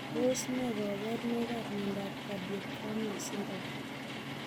Tos ne kaborunoikab miondop cardiocranial syndrome?